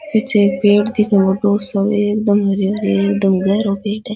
पीछे एक पेड़ दिखे है एकदम गेहरो पेड़ है।